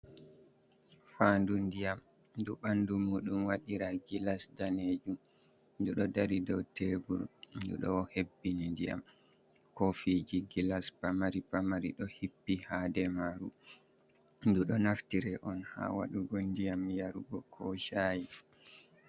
"Fanɗu ndiyam" ɗu ɓandu muɗum wadira gilas danejum ɗu ɗo dari dow tebur ɗu ɗo hebbini ndiyam kofiji gilas pamari pamari ɗo hippi ha nder maru ɗu ɗo naftira on ha wadugo ndiyam yarugo ko sha'i.